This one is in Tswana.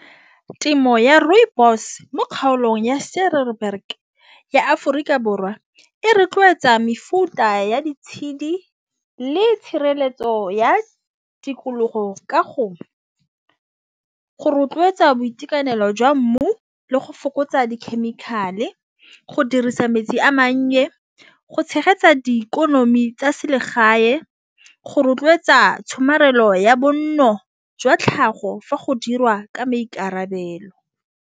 Temo ya rooibos mo kgaolong ya ya Aforika Borwa e rotloetsa mefuta ya di tshedi le tshireletso ya tikologo ka go rotloetsa boitekanelo jwa mmu le go fokotsa di-chemical e go dirisa metsi a mannye. Go tshegetsa di ikonomi tsa selegae go rotloetsa tshomarelo ya bonno jwa tlhago fa go dirwa ka maikarabelo.